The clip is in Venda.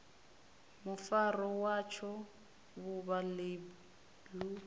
mufaro watsho vhuvha ḽeibu ḽu